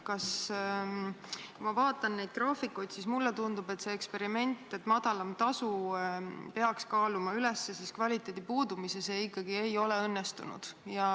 Kui ma vaatan neid graafikuid, siis mulle tundub, et see eksperiment, et madalam tasu peaks kaaluma üles kvaliteedi puudumise, ikkagi ei ole õnnestunud.